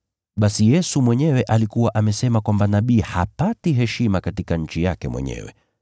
(Basi Yesu mwenyewe alikuwa amesema kwamba nabii hapati heshima katika nchi yake mwenyewe.)